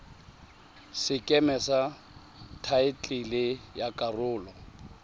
sekeme sa thaetlele ya karolo